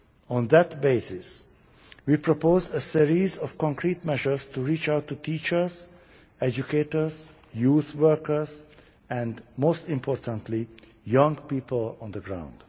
On that basis we proposed a series of concrete measures to reach out to teachers, educators, youth workers and, most importantly, young people on the ground.